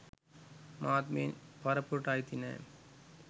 මාත් මේ පරපුරට අයිති නෑ.